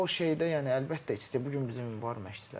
Yəni o şeydə yəni əlbəttə, bu gün bizim var məşçilər.